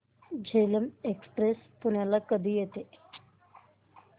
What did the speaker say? Jhelum express पुण्याला कधी येते